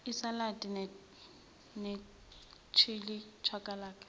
isaladi nechili chakalaka